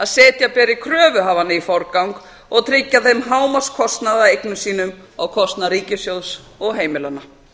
setja beri kröfuhafana í forgang og tryggja þeim hámarkskostnað af eignum sínum á kostnað ríkissjóðs og heimilanna